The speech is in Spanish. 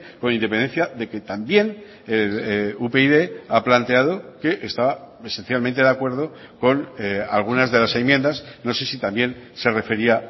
con independencia de que también upyd ha planteado que estaba esencialmente de acuerdo con algunas de las enmiendas no sé si también se refería